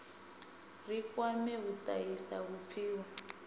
ri kwame u tahisa vhupfiwa